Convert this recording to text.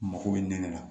Mako bɛ nɛngɛnɛ na